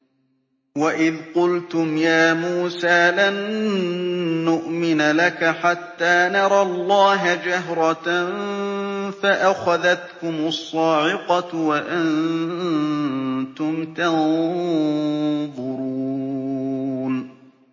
وَإِذْ قُلْتُمْ يَا مُوسَىٰ لَن نُّؤْمِنَ لَكَ حَتَّىٰ نَرَى اللَّهَ جَهْرَةً فَأَخَذَتْكُمُ الصَّاعِقَةُ وَأَنتُمْ تَنظُرُونَ